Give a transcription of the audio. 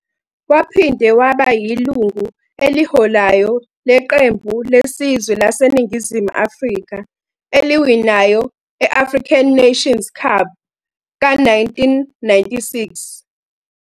Waphinde waba yilungu eliholayo leqembu lesizwe laseNingizimu Afrika eliwinayo e-African Nations Cup ka-1996.